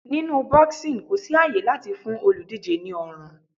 Nínú boxing kò sí àyè láti fún olùdíje ní ọrùn.